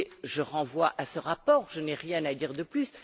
Je vous renvoie à ce rapport, je n'ai rien à dire de plus.